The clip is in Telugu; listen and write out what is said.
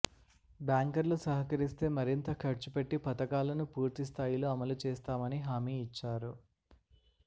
బ్యాంకర్లు సహకరిస్తే మరింత ఖర్చు పెట్టి పథకాలను పూర్తి స్థాయిలో అమలు చేస్తామని హామీ ఇచ్చారు